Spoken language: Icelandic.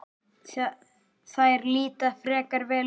Þær líta frekar vel út.